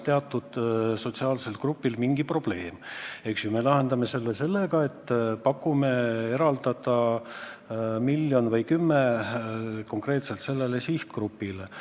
Teatud sotsiaalsel grupil on mingi probleem ja me lahendame selle sellega, et pakume eraldada miljon või kümme konkreetselt sellele sihtgrupile.